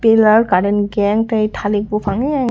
o jaga current gang tei talik bopang e eyang.